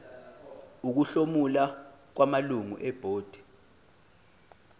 ukuhlomula kwamalungu ebhodi